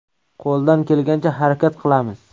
Qo‘ldan kelgancha harakat qilamiz.